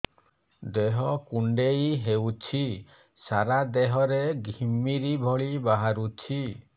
ଦେହ କୁଣ୍ଡେଇ ହେଉଛି ସାରା ଦେହ ରେ ଘିମିରି ଭଳି ବାହାରୁଛି